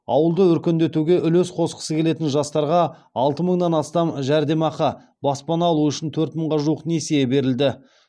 ауылды өркендетуге үлес қосқысы келетін жастарға алты мыңнан астам жәрдемақы баспана алу үшін төрт мыңға жуық несие берілді